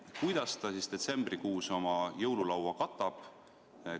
Kuidas ta detsembrikuus oma jõululaua katab?